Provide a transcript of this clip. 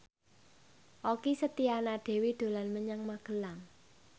Okky Setiana Dewi dolan menyang Magelang